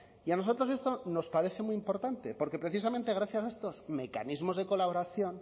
y a nosotros esto nos parece muy importante porque precisamente gracias a estos mecanismos de colaboración